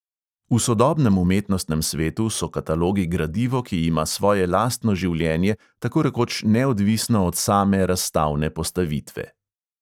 V sodobnem umetnostnem svetu so katalogi gradivo, ki ima svoje lastno življenje tako rekoč neodvisno od same razstavne postavitve.